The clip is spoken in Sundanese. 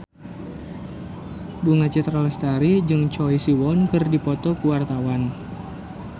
Bunga Citra Lestari jeung Choi Siwon keur dipoto ku wartawan